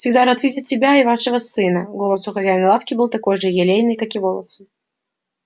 всегда рад видеть у себя вас и вашего сына голос у хозяина лавки был такой же елейный как и волосы